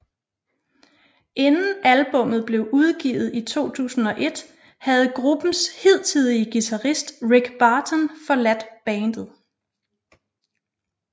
Inden albummet blev udgivet i 2001 havde gruppens hidtidige guitarist Rick Barton forladt bandet